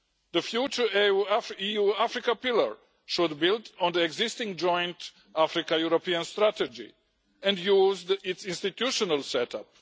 The future EU Africa pillar should build on the existing joint Africa European strategy and use its institutional set